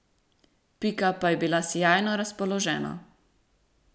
Pika pa je bila sijajno razpoložena.